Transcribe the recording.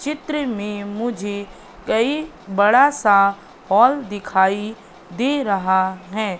चित्र में मुझे कई बड़ा सा हॉल दिखाई दे रहा हैं।